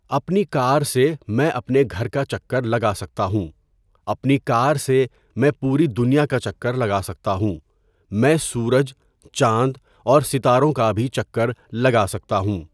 اپنی کار سے میں اپنے گھر کا چکّر لگا سکتا ہوں اپنی کار سے میں پوری دنیا کا چکّر لگا سکتا ہوں میں سورج، چاند اور ستاروں کا بھی چکّر لگا سکتا ہوں.